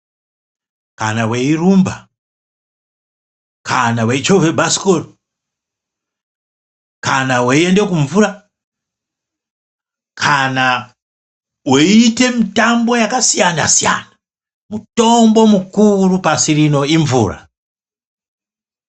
Kana weirumba, kana weichovhe bhasikoro , kana weiende kumvura , kana weiite mitambo yakasiyana siyana mutombo mukuru pasirino imvura.